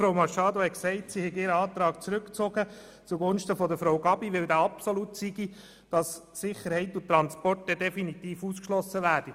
Frau Machado hat gesagt, sie habe ihren Antrag zurückgezogen, zugunsten desjenigen von Frau Gabi, weil dieser absolut sei und Sicherheit und Transport damit definitiv ausgeschlossen würden.